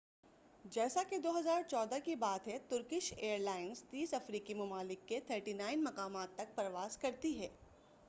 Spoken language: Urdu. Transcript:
جیسا کہ 2014 کی بات ہے ترکش ایر لائنس 30 افریقی ممالک کے 39 مقامات تک پرواز کرتی ہے